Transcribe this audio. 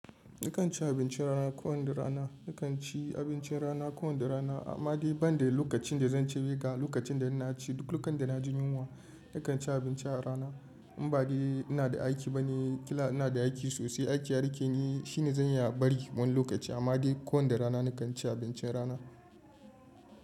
Nakan ci abincin rana ko wanda rana. Nakan ci abincin rana ko wanda rana. Amma dai banda lokacin da zan ce maka, lokacin da ina ci duk lokacin da na ji yunwa nakan ci abinci a rana. In ba dai ina da aiki bane, kila ina da aiki sosai, aiki ya rike ni, shine zan iya bari wani lokaci. Amma dai ko wanda rana nakan ci abincin rana.